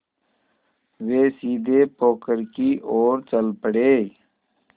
वे सीधे पोखर की ओर चल पड़े